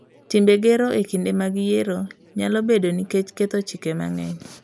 Timbe gero e kinde mag yiero nyalo bedoe nikech ketho chike mang'eny.